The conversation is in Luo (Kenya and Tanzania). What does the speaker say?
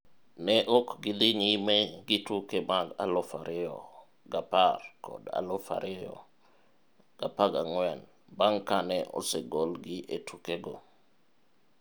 Ne ok gi dhi nyime gi tuke mag 2010 kod 2014 bang' kane osegolgi e tuke go.